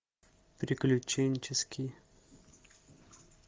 приключенческий